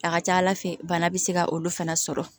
A ka ca ala fɛ bana bɛ se ka olu fana sɔrɔ